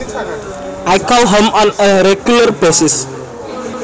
I call home on a regular basis